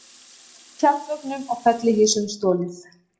Tjaldvögnum og fellihýsum stolið